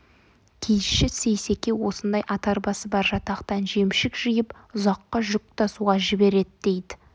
киізші сейсеке осындай ат арбасы бар жатақтан жемшік жиып ұзаққа жүк тасуға жібереді дейді